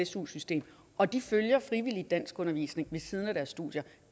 su system og de følger frivilligt danskundervisning ved siden af deres studier